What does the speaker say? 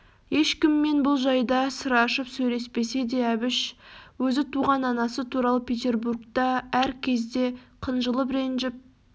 ешкіммен бұл жайда сыр ашып сөйлеспесе де әбіш өзі туған анасы туралы петербургта да әр кезде қынжылып ренжіп